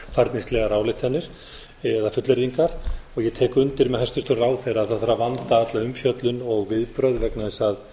einhverjar fljótfærnislegar ályktanir eða fullyrðingar ég tek undir með hæstvirtum ráðherra að það þarf að vanda alla umfjöllun og viðbrögð vegna þess að